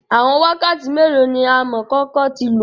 Awọn wakati melo ni amọkoko ti lo?